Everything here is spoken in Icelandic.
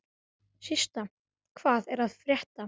Systa, hvað er að frétta?